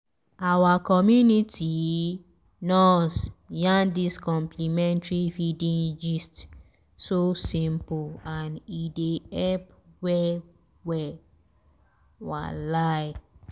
our community nurse yarn dis complementary feeding gist so simple and e dey help well-well walahi.